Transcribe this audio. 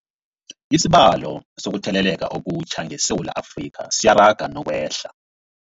Isibalo sokuthele leka okutjha ngeSewula Afrika siyaraga nokwehla.